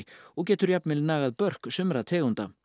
og getur jafnvel nagað börk sumra tegunda